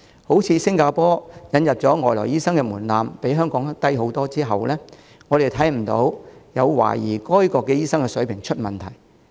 正如新加坡引入外來醫生的門檻比香港低很多，但我們看不到有懷疑該國醫生的水平出現問題。